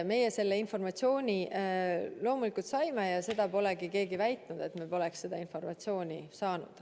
Meie selle informatsiooni loomulikult saime ja seda polegi keegi väitnud, et me poleks seda informatsiooni saanud.